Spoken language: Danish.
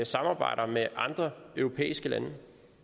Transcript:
samarbejder med andre europæiske lande